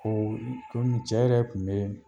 O don cɛ yɛrɛ kun be yen